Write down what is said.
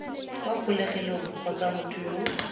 kwa kgolegelong kgotsa motho yo